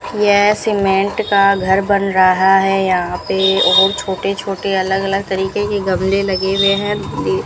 यह सीमेंट का घर बन रहा है यहां पे और छोटे छोटे अलग अलग तरीके के गमले लगे हुए हैं ये --